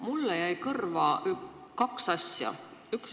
Mulle jäi kõrva kaks asja.